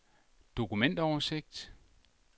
dokumentoversigt